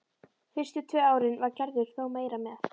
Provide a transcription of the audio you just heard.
Fyrstu tvö árin var Gerður þó meira með.